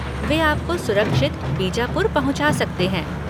वे आपको सुरक्षित बीजापुर पहुँचा सकते हैं।